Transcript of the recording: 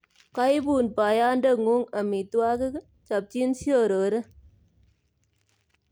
Koibun boyode'nguk omitwokik, chopchin siorore